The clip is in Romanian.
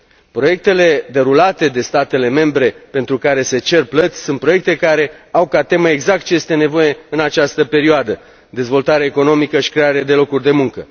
Proiectele derulate de statele membre, pentru care se cer plăți, sunt proiecte care au ca temă exact ce este nevoie în această perioadă dezvoltare economică și creare de locuri de muncă.